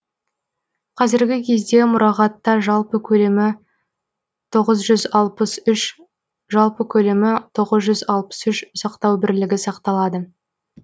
қазіргі кезде мұрағатта жалпы көлемі тоғыз жүз алпыс үш жалпы көлемі тоғыз жүз алпыс үш бірлігі сақталады